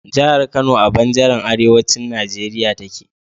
Jahar Kano a banjaran arewacin Nigeria take